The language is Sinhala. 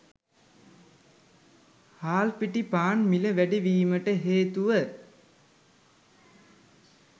හාල් පිටි පාන් මිල වැඩි වීමට හේතුව